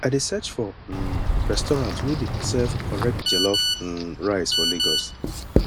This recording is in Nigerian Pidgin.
i dey search for um restaurant wey dey serve correct jollof um rice for lagos